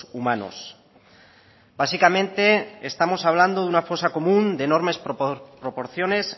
humanos básicamente estamos hablando de una fosa común de enormes proporciones